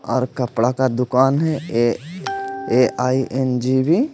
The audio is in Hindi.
और कपड़ा का दुकान है ए_आई_एन_जी_बी --